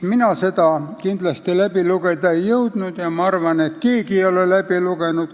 Mina seda läbi lugeda ei jõudnud ja ma arvan, et keegi ei ole seda läbi lugenud.